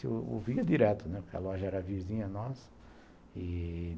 Eu ouvia direto, né, porque a loja era vizinha nossa e